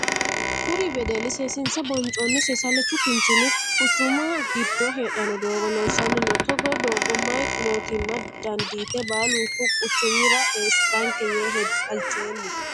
Kuri wedeli seesiinse boncoonni seesalichu kinchinni kuchumu gido heedhano doogo loosanni no. Togoo doogo mayi mootimma dandiite baalunku quchumira eesitanke yee halchoomo.